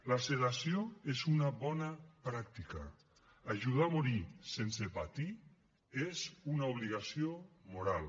la sedació és una bona pràctica ajudar a morir sense patir és una obligació moral